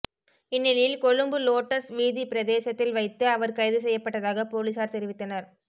இந்நிலையில் கொழும்பு லோட்டஸ் வீதி பிரதேசத்தில் வைத்து அவர் கைது செய்யப்பட்டதாக பொலிஸார் தெரிவித்தனர்